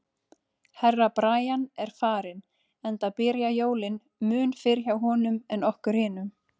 Herra Brian er farinn, enda byrja jólin mun fyrr hjá honum en okkur hinum.